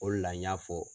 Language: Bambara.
O de la n y'a fɔ